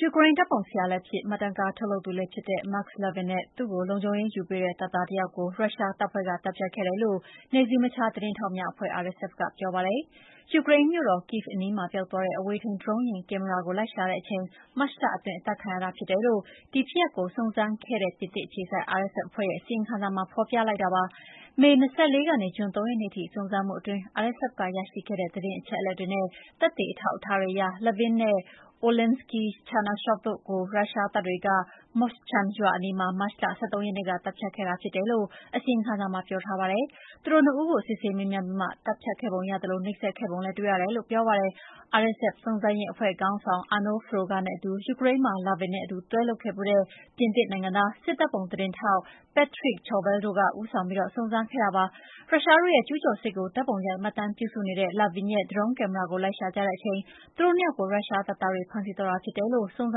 ယူကရိန်း ဓာတ်ပုံဆရာလည်းဖြစ် မှတ်တမ်းကားထုတ်လုပ်သူလည်းဖြစ်တဲ့ Maks Levin နဲ့ သူ့ကိုလုံခြုံရေးယူပေးတဲ့တပ်သားတယောက်ကို ရုရှားတပ်ဖွဲ့က သတ်ဖြတ်ခဲ့တယ်လို့ နယ်စည်းမခြားသတင်းထောက်များအဖွဲ့ RSF ကပြောပါတယ်။ ယူကရိန်းမြို့တော် Kyiv အနီးမှာ ပျောက်သွားတဲ့ အဝေးထိန်းဒရုန်းကင်မရာကို လိုက်ရှာခဲ့တဲ့အချိန် မတ်လအတွင်း အသတ်ခံလိုက်ရတာဖြစ်တယ်လို့ ဒီဖြစ်ရပ်ကို စုံစမ်းခဲ့တဲ့ ပြင်သစ်အခြေစိုက် RSF အဖွဲ့ရဲ့အစီရင်ခံစာမှာ ဖော်ပြလိုက်တာပါ။ မေ ၂၄ ကနေ ဂျွန်၃ ရက်နေ့ထိစုံစမ်းမှုအတွင်း FSF ကရရှိခဲ့တဲ့ သတင်းအချက်အလက်တွေနဲ့ သက်သေအထောက်အထားတွေအရ Levin နဲ့ Oleksiy Chernyshov တို့်ကို ရုရှားတပ်တွေက Moshchun ရွာအနီးမှာ မတ်လ ၁၃ ရက်နေ့က သတ်ဖြတ်ခဲ့တာ ဖြစ်တယ်လို့အစီရင်ခံစာမှာပြောထားပါတယ်။ သူတို့နှစ်ဦးကို စစ်ဆေးမေးမြန်းပြီးမှသတ်ဖြတ်ခဲ့ပုံရသလို နှိပ်စက်ခဲ့ပုံလည်းတွေ့ ရတယ်လို့လည်းပြောပါတယ်။ RSF စုံစမ်းရေးအဖွဲ့ခေါင်းဆောင် Arnaud Froger နဲ့အတူ ယူကရိန်းမှာ Levin နဲ့အတူတွဲလုပ်ခဲ့ဖူးတဲ့ ပြင်သစ်နိုင်ငံသား စစ်ဓာတ်ပုံသတင်းထောက် Patrick Chauvel တို့က ဦးဆောင်ပြီး စုံစမ်းစစ်ဆေးခဲ့ကြတာပါ။ ရုရှားတို့ရဲ့ကျူးကျော်စစ်ကို ဓာတ်ပုံရိုက်မှတ်တမ်းပြုစုနေတဲ့ Levin ရဲ့ ဒရုန်းကင်မရာကို လိုက်ရှာကြတဲ့အချိန် သူတို့၂ ယောက်ကို ရုရှားတပ်သားတွေဖမ်းဆီးသွားတာဖြစ်တယ်လို့ စုံစ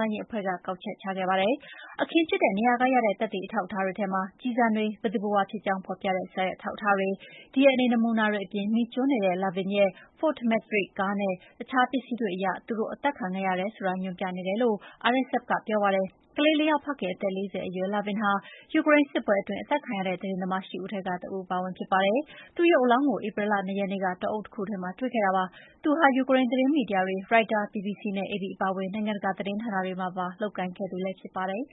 မ်းရေးအဖွဲ့က ကောက်ချက်ချခဲ့ပါတယ်။ အခင်းဖြစ်တဲ့နေရာက ရတဲ့သက်သေအထောက်အထားတွေထဲမှာ ကျည်ဆံတွေ၊ ဘယ်သူဘယ်ဝါဖြစ်ကြောင်းဖော်ပြတဲ့ စာရွက်အထောက်အထားတွေ၊ DNA နမူနာတွေအပြင် မီးကျွမ်းနေတဲ့ Levin ရဲ့ Ford Maverick ကားနဲ့ ရှာတွေ့ခဲ့တဲ့အခြားပစ္စည်းတွေအရ သူတို့အသက်ခံခဲ့ရတယ်ဆိုတာညွှန်ပြနေတယ်လို့ RSF ကပြောပါတယ်။ ကလေး ၄ ယောက်ဖခင်၊ အသက် ၄၀ အရွယ် Levin ဟာ ယူကရိန်းစစ်ပွဲအတွင်း အသတ်ခံရတဲ့ သတင်းသမား ၈ ဦးထဲက တဦးအပါအဝင်ဖြစ်ပါတယ်။ သူ့ရုပ်အလောင်းကို ဧပြီလ ၂ ရက်နေ့က တောအုပ်တခုထဲမှာတွေ့ခဲ့တာပါ။ သူဟာ ယူကရိန်းသတင်းမီဒီယာတွေ၊ Reuters, BBC နဲ့ AP အပါအဝင် နိုင်ငံတကာသတင်းဌာနတွေမှာ ပါလုပ်ကိုင်ခဲ့သူလည်းဖြစ်ပါတယ်။